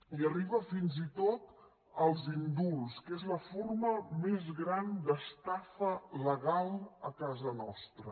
i arriba fins i tot als indults que és la forma més gran d’estafa legal a casa nostra